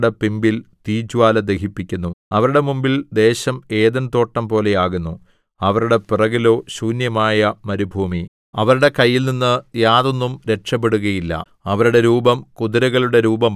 അവരുടെ മുമ്പിൽ തീ കത്തുന്നു അവരുടെ പിമ്പിൽ തീജ്വാല ദഹിപ്പിക്കുന്നു അവരുടെ മുമ്പിൽ ദേശം ഏദെൻതോട്ടം പോലെയാകുന്നു അവരുടെ പിറകിലോ ശൂന്യമായ മരുഭൂമി അവരുടെ കയ്യിൽനിന്ന് യാതൊന്നും രക്ഷപെടുകയില്ല